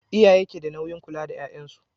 Iyaye keda nauyin kula da yayan su